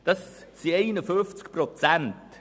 Das entspricht 51 Prozent.